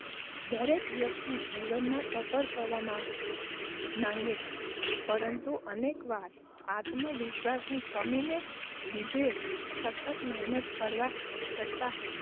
દરેક વ્યક્તિ જીવનમાં સફળ થવા માં માંગે છે. પરંતુ, અનેકવાર આત્મવિશ્વાસ ની કમી ને લીધે સખત મહેનત કરવા છ્તાં,